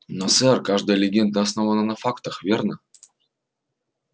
но сэр каждая легенда основана на фактах верно